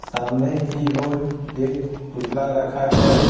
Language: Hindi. सामने की ओर एक पुतला रखा है ।